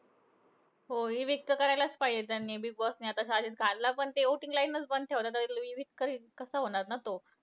हो. evict तर करायलाच पाहिजे त्यांनी बिगबॉस ने आता साजिद खानला. पण ते voting lines चं बंद ठेवले, तर अं evict तरी कसा होणार ना तो.